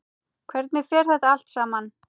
Hvernig fer þetta allt saman?